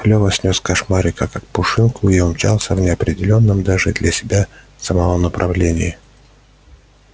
лёва снёс кошмарика как пушинку и умчался в неопределённом даже для себя самого направлении